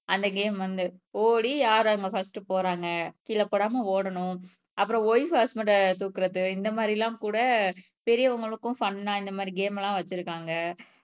அந்த கேம் வந்து ஓடி யார் அவங்க பிரஸ்ட் போறாங்க கீழே போடாம ஓடணும் அப்புறம் வய்ப் ஹஸ்பண்ட்ட தூக்கறது இந்த மாதிரி எல்லாம் கூட பெரியவங்களுக்கும் ஃபன் ஆஹ் இந்த மாதிரி கேம் எல்லாம் வச்சிருக்காங்க